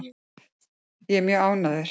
Ég er mjög ánægður.